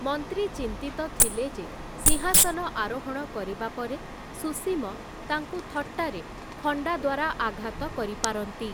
ମନ୍ତ୍ରୀ ଚିନ୍ତିତ ଥିଲେ ଯେ ସିଂହାସନ ଆରୋହଣ କରିବା ପରେ ସୁସୀମ ତାଙ୍କୁ ଥଟ୍ଟାରେ ଖଣ୍ଡା ଦ୍ୱାରା ଆଘାତ କରିପାରନ୍ତି ।